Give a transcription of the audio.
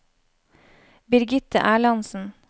Birgitte Erlandsen